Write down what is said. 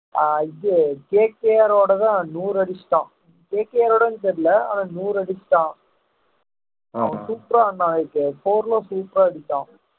ஆஹ் இது ஓடதான்நூறு அடிச்சிட்டோம் ஓடன்னு தெரியலே அவன் நூறு அடிச்சிட்டான் ஆஹ் super ஆஆடுனான் நேத்து four ல super ஆ அடிச்சான்